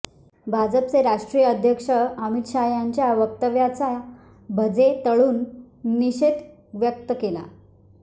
भाजपचे राष्ट्रीय अध्यक्ष अमित शाह यांच्या व्यक्तव्याचा भजे तळून निषेध व्यक्त केला